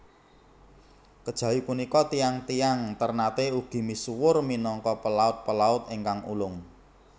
Kejawi punika tiyang tiyang Ternate ugi misuwur minangka pelaut pelaut ingkang ulung